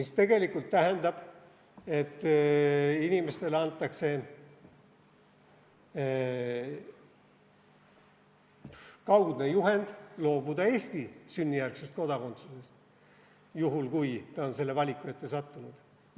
See tegelikult tähendab, et inimestele antakse kaudne juhend loobuda Eesti sünnijärgsest kodakondsusest, juhul kui nad on selle valiku ette sattunud.